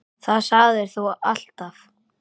Það sagðir þú alltaf.